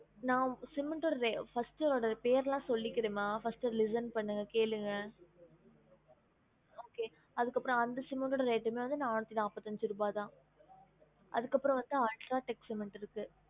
நா cement ஓட rate first அதோட பேர்லாம் சொல்லிக்கிறேன் மா first listen பண்ணுங்க கேளுங்க okay அதுக்கு அப்பரம் அந்த cement ஓட rate டுமே நானூத்தி நாப்பத்தி அஞ்சு ருபா தான் அதுக்கு அப்புறம் வந்த UltraTech cement இருக்கு